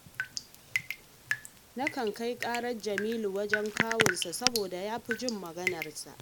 Nakan kai ƙarar Jamilu wajen kawunsa, saboda ya fi jin maganarsa